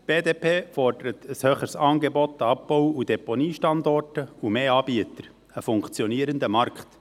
Die BDP fordert ein höheres Angebot an Abbau- und Deponiestandorten sowie mehr Anbieter, einen funktionierenden Markt.